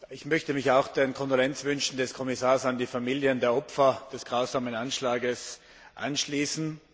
Ich möchte mich auch den Kondolenzwünschen des Kommissars an die Familien der Opfer des grausamen Anschlags anschließen.